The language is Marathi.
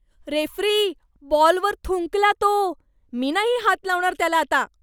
रेफ्री, बॉलवर थुंकला तो. मी नाही हात लावणार त्याला आता.